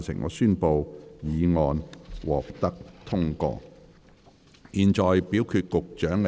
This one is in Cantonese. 我宣布議案獲得通過。